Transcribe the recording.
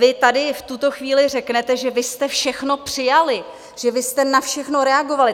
Vy tady v tuto chvíli řeknete, že vy jste všechno přijali, že vy jste na všechno reagovali.